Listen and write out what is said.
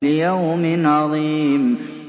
لِيَوْمٍ عَظِيمٍ